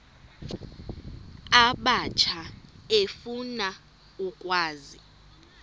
abatsha efuna ukwazi